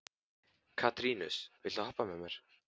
Katarínus, viltu hoppa með mér?